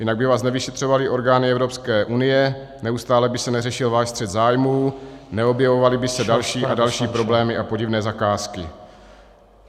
Jinak by vás nevyšetřovaly orgány Evropské unie, neustále by se neřešil váš střet zájmů, neobjevovaly by se další a další problémy a podivné zakázky.